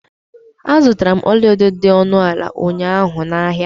Azutara m ọlaedo dị ọnụ ala ụnyaahụ na ahịa.